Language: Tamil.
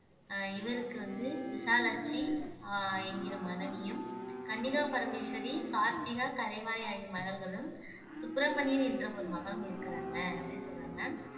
அஹ் இவருக்கு வந்து விசாலாட்சி அஹ் என்கிற மனைவியும் கன்னிகா பரமேஸ்வரி கார்த்திகா கலைவாணி ஆகிய மகள்களும் சுப்பிரமணியர் என்ற ஒரு மகன் இருக்கிறாங்க அப்படின்னு சொல்றாங்க